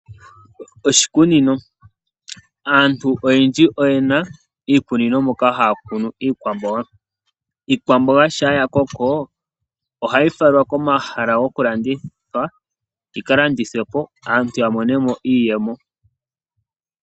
Oshikunino , aantu oyendji oyena iikunino moka haya kunu iikwamboga, iikwamboga shampa yakoko ohayi falwa komahala gomalandithilo , yikalandithwepo aantu yamonemo iiyemo.